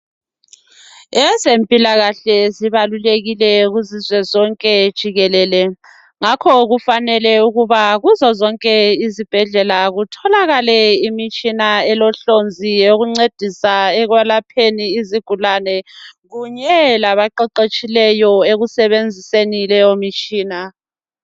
Ezempilakahle zibalulekile kuzizwe zonke jikelele ngakho kufanele ukuba kuzo zonke izibhedlela kutholakele imitshina elehlonzi eyokuncedisa ekwelapheni izigulane kunye labaqeqetshileyo ekusebenziseni leyo mtshina.